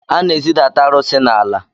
A na-ezidata arụsị n’ala